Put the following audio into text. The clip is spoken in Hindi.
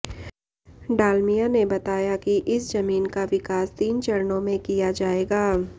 डालमिया ने बताया कि इस जमीन का विकास तीन चरणों में किया जाएगा